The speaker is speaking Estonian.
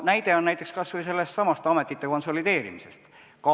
Näide on kas või sellesama ametite konsolideerimise kohta.